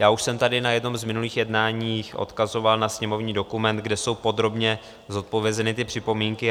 Já už jsem tady na jednom z minulých jednání odkazoval na sněmovní dokument, kde jsou podrobně zodpovězeny ty připomínky.